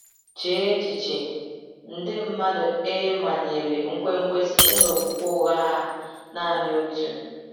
Chee echiche — nde mmadụ e manyere nkwenkwe site n’okwukwe ụgha a naanị otu!